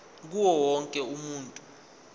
kuwo wonke umuntu